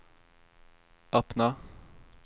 öppna